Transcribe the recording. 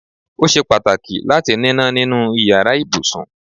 Ó ṣe pàtàkì láti níná nínú iyàrá ibùsùn